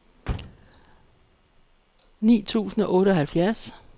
ni tusind og otteoghalvfjerds